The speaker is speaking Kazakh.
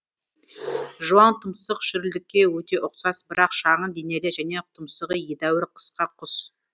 жуантұмсық шүрілдікке өте ұқсас бірақ шағын денелі және тұмсығы едәуір қысқа құс